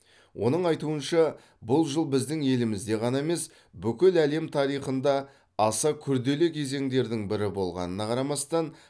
оның айтуынша бұл жыл біздің елімізде ғана емес бүкіл әлем тарихында аса күрделі кезеңдердің бірі болғанына қарамастан